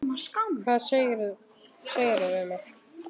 Hvað segirðu við mig?